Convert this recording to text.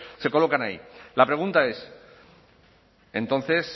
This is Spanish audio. se colocan ahí la pregunta es entonces